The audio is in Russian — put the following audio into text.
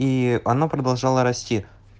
и она продолжала расти